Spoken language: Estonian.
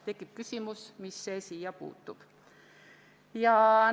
" Tekib küsimus: mis see siia puutub?